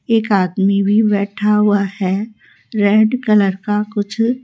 एक आदमी भी बैठा हुआ है रेड कलर का कुछ--